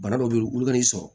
Bana dɔw be ye olu ka n'i sɔrɔ